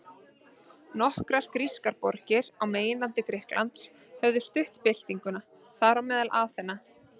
Nokkrar grískar borgir á meginlandi Grikklands höfðu stutt byltinguna, þar á meðal Aþena.